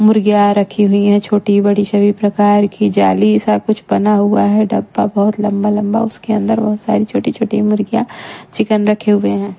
मुर्गियां रखी हुई है छोटी बड़ी सभी प्रकार की जाली सा कुछ बना हुआ है डब्बा बहुत लंबा-लंबा उसके अंदर बहुत सारी छोटी-छोटी मुर्गियां चिकन रखे हुए हैं --